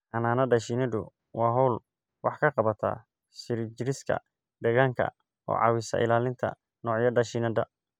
Xannaanada shinnidu waa hawl wax ka qabata sii jirista deegaanka oo caawisa ilaalinta noocyada shinnida.